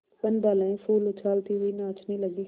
वनबालाएँ फूल उछालती हुई नाचने लगी